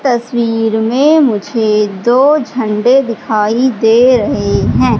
तस्वीर में मुझे दो झंडे दिखाई दे रहे हैं।